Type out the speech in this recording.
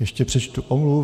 Ještě přečtu omluvu.